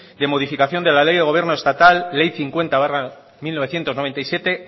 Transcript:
de modificación de la ley de gobierno estatal ley cincuenta barra mil novecientos noventa y siete